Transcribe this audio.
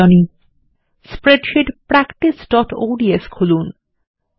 অনুশীলনী160 spreadsheet practiceঅডস খুলুন